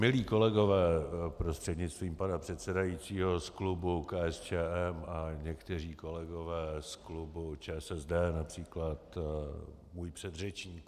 Milí kolegové, prostřednictvím pana předsedajícího, z klubu KSČM a někteří kolegové z klubu ČSSD, například můj předřečníku.